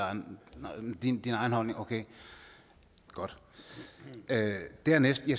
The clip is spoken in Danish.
din egen holdning okay godt dernæst vil